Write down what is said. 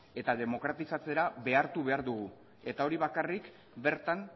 eta demokratizatzera behartu behar dugu eta hori bakarrik bertan